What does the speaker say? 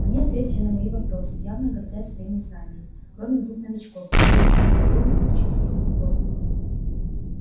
они ответили на мои вопросы явно гордясь своими знаниями кроме двух новичков которые ещё не успели изучить физику поля